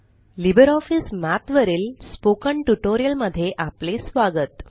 Libre office Math वरील spoken tutorial मध्ये आपले स्वागत